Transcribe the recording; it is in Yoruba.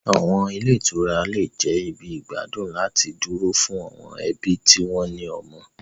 Àwọn ilé ìtura lè jẹ́ ibi ìgbádùn láti dúró fún àwọn ẹbí tí wọ́n ní ọmọ.